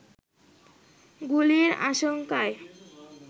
গুলির আশঙ্কায়